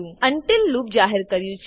until loop જાહેર કર્યું છે